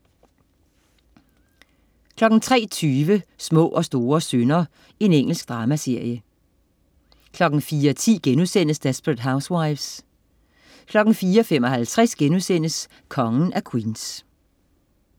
03.20 Små og store synder. Engelsk dramaserie 04.10 Desperate Housewives* 04.55 Kongen af Queens*